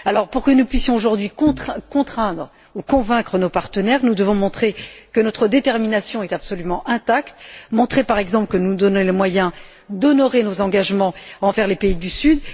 Pour que nous puissions aujourd'hui contraindre ou convaincre nos partenaires, nous devons montrer que notre détermination est absolument intacte, montrer, par exemple, que nous nous donnons les moyens d'honorer nos engagements envers les pays du sud.